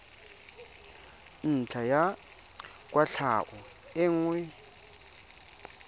ntlha ya kwatlhao e nngwe